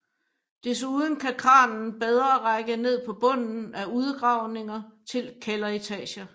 Desuden kan kranen bedre række ned på bunden af udgravninger til kælderetager